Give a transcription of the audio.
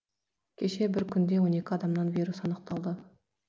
кеше бір күнде он екі адамнан вирус анықталды